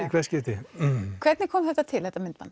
í hvert skipti hvernig kom þetta til þetta myndband